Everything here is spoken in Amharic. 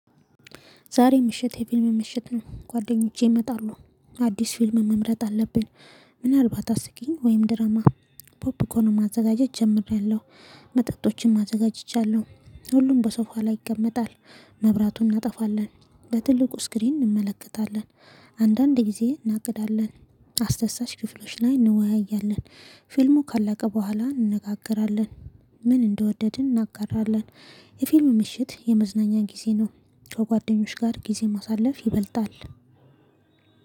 ዛሬ ምሽት የፊልም ምሽት ነው ጓደኞቼ ይመጣሉ አዲስ ፊልም መምረጥ አለብን። ምናልባት አስቂኝ ወይም ድራማ። ፖፕኮርን ማዘጋጀት ጀምሬያለሁ። መጠጦችንም አዘጋጅቻለሁ ሁሉም በሶፋ ላይ ይቀመጣል። መብራቱን እናጠፋለን በትልቁ ስክሪን እንመለከታለን። አንዳንድ ጊዜ እናግዳለን አስደሳች ክፍሎች ላይ እንወያያለን። ፊልሙ ካላቀ በኋላ እንነጋገራለን። ምን እንደወደድን እናጋራለን። የፊልም ምሽት የመዝናኛ ጊዜ ነው። ከ ጓደኞች ጋር ጊዜ ማሳለፍ ይበልጣል።